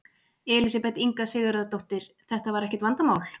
Elísabet Inga Sigurðardóttir: Þetta var ekkert vandamál?